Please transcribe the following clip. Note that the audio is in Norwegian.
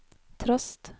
trost